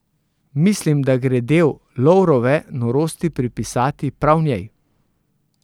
Mislim, da gre del Lovrove norosti pripisati prav njej.